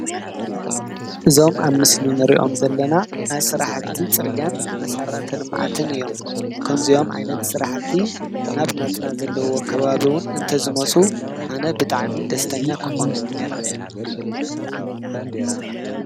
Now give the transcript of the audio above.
እዞም አብ ምስሊ እንሪኦም ዘለና ናይ ስራሕቲ ፅርግያን መሰረተ ልምዓትን እዮም። ከም እዚኦም ዓይነት ስራሕቲ ናብ ናትና ዘለዎ ከባቢ እዉን እንተዝመፁ ኣነ ብጣዕሚ ደስተኛ ክኾን ኔረ።